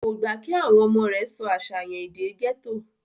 kò gbà kí àwọn ọmọ rẹ̀ sọ àṣàyàn èdè gẹ́tò